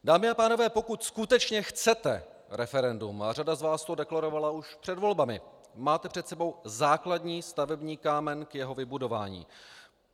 Dámy a pánové, pokud skutečně chcete referendum, a řada z vás to deklarovala už před volbami, máte před sebou základní stavební kámen k jeho vybudování.